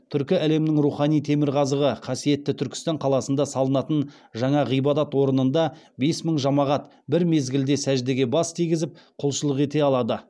түркі әлемінің рухани темірқазығы қасиетті түркістан қаласында салынатын жаңа ғибадат орнында бес мың жамағат бір мезгілде сәждеге бас тигізіп құлшылық ете алады